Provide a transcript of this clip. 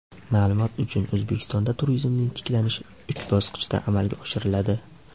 Ma’lumot uchun, O‘zbekistonda turizmning tiklanishi uch bosqichda amalga oshiriladi .